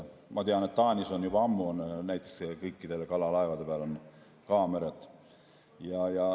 Ma tean, et Taanis on juba ammu näiteks kõikide kalalaevade peal kaamerad.